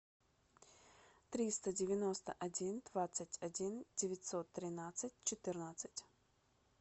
триста девяносто один двадцать один девятьсот тринадцать четырнадцать